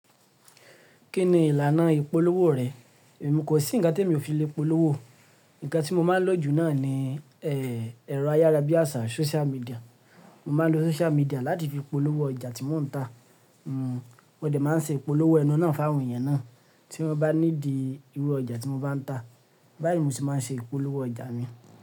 Kí ni ìlànà ìpolówó rẹ̀? Èmi kò sí ǹkan tí èmi ò fi lè polówó. Ǹkan tí mo máa ń lò jù náà ni, ẹ́ ẹ̀rọ ayárabíàṣá, social media. Mo máa ń lo social media láti fi polówó ọjà tí mò ń ta. N mòde máa ń ṣe ìpolówó enú náà fún àwọn èèyàn náà. Tí wọ́n bá need i irú ọjà tí mo bá ń ta. Báyìí mo sì máa ń ṣe ìpolówó ọjà mi.